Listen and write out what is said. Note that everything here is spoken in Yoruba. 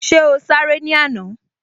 Ṣé o sáré ní àná?